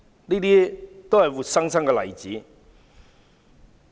這些都是活生生的例子。